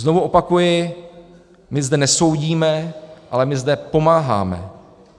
Znovu opakuji, my zde nesoudíme, ale my zde pomáháme.